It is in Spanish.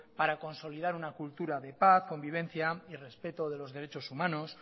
para consolidar una cultura de paz convivencia y respeto de los derechos humanos